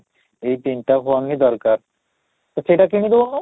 ଏଇ ତିନିଟା phone ହିଁ ଦରକାର ତ ସେଇଟା କିଣି ଦେଉନୁ